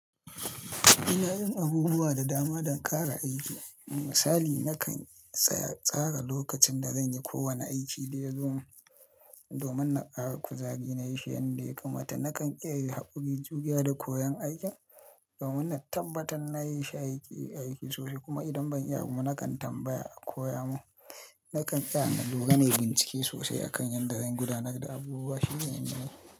Ina yin abubuwa da dama don ƙara aiki. Misali, nakan tsara lokacin da zan yi kowane aiki da yazo domin na ƙara kuzari na yi shi yanda ya kamata. Nakan iyayin haƙuri, juriya da koyon aikin domin na tabbatar na yi shi a aiki sosai kuma idan ban iya abu ba, nakan tambaya a koya mun. Nakan iya na doga nayi bincike sosai akan yanda zan gudanar da abubuwa shine yanayina.